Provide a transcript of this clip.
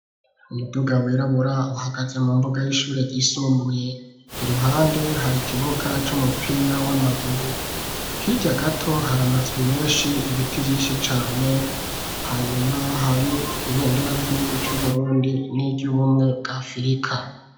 Umuduga wirabura uhagaze mu mbuga y'ishure ryisumbuye iruhande hari ikibuga c'umupira w'amaguru hirya gato hari amazu meshi ibiti vyishi cane hanyuma hari ibendera ry'igihugu cu Burundi niryu bumwe bwa afurika.